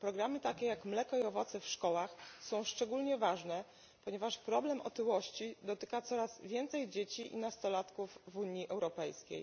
Programy takie jak Mleko i owoce w szkołach są szczególnie ważne, ponieważ problem otyłości dotyka coraz więcej dzieci i nastolatków w Unii Europejskiej.